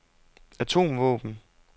atomvåben